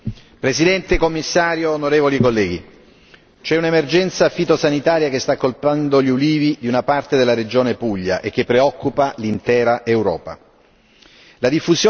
Signora Presidente, onorevoli colleghi, c'è un'emergenza fitosanitaria che sta colpendo gli ulivi di una parte della regione Puglia e che preoccupa l'Europa intera.